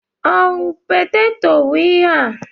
Ọ wụ peteto bụ ihe ahụ?